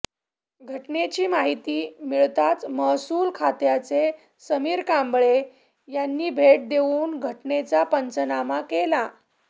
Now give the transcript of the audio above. घटनेची माहिती मिळताच महसूल खात्याचे समीर कांबळे यांनी भेट देऊन घटनेचा पंचनामा केला